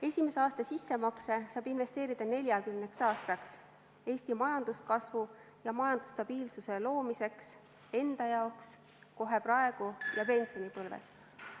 Esimese aasta sissemakse saab investeerida 40 aastaks Eesti majanduskasvu ja majandusstabiilsuse loomiseks enda jaoks, kohe praegu ja pensionipõlves.